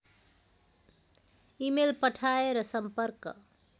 email पठाएर सम्पर्क